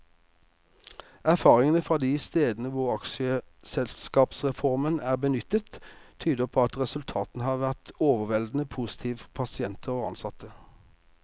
Erfaringene fra de stedene hvor aksjeselskapsformen er benyttet, tyder på at resultatene har vært overveldende positive for pasienter og ansatte.